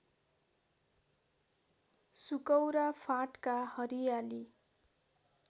सुकौरा फाँटका हरियाली